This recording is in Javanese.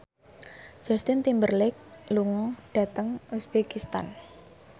Justin Timberlake lunga dhateng uzbekistan